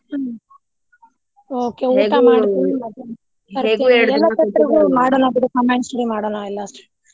ಹ್ಮ okay ಊಟ ಮಾಡ್ಕೊಂಡ ಮಧ್ಯಾಹ್ನ ಬರ್ತೀನಿ ಎಲ್ಲ ಮಾಡೋಣ ಬಿಡಿ combined study ಮಾಡೋಣ ಎಲ್ಲಾ ಸೇರಿ.